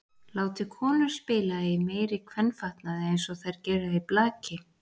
Látið konur spila í meiri kvenfatnaði eins og þær gera í blaki.